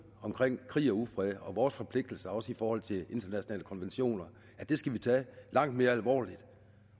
omkring krig og ufred og vores forpligtelser også i forhold til internationale konventioner langt mere alvorligt